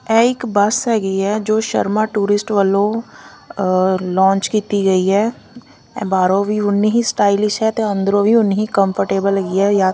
ਐ ਇੱਕ ਬੱਸ ਹੈਗੀ ਆ ਜੋ ਸ਼ਰਮਾ ਟੂਰਿਸਟ ਵੱਲੋਂ ਲੌਂਚ ਕੀਤੀ ਗਈ ਆ ਐ ਬਾਹਰੋਂ ਵੀ ਉਨੀ ਹੀ ਸਟਾਈਲਿਸ਼ ਹੈ ਤਾਂ ਅੰਦਰੋਂ ਵੀ ਉਨੀ ਹੀ ਕੰਫਰਟੇਬਲ ਹੈਗੀ ਆ ਜਾਂ --